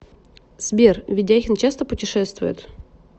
сбер ведяхин часто путешествует